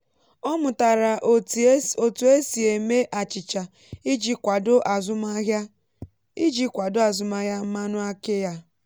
ọ mụtara etu esi eme achịcha iji kwado azụmahịa iji kwado azụmahịa mmanụ aki ya.